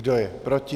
Kdo je proti?